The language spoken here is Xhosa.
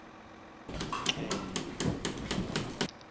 nxele